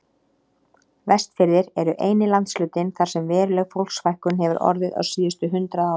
Vestfirðir eru eini landshlutinn þar sem veruleg fólksfækkun hefur orðið á síðustu hundrað árum.